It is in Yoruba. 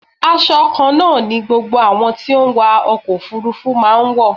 Asọ kan náà ni gbogbo àwọn tí ó ń wa ọkọ̀ òfúrúfú máa ń wọ.